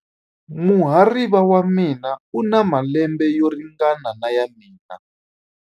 Muhariva wa mina u na malembe yo ringana na ya mina.